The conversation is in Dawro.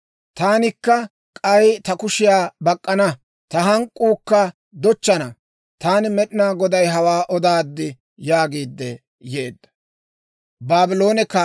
Taanikka k'ay ta kushiyaa bak'k'ana; ta hank'k'uukka dochchana.› Taani Med'inaa Goday hawaa odaad» yaagiidde yeedda.